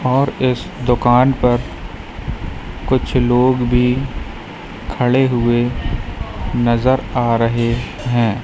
और इस दुकान पर कुछ लोग भी खड़े हुए नजर आ रहे हैं।